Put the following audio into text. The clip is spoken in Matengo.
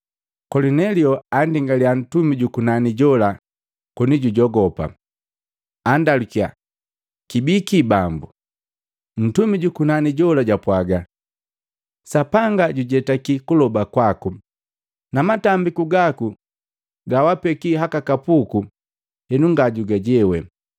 Kolinelio andingaliya ntumi jukunani jola koni jujogopa, andalukia, “Kibiki Bambu?” Ntumi jukunani jola jwapwaga, “Sapanga jujetaki kuloba kwaku na matambiku gaku gawaapeki haka kapuku henu nga jugujewe.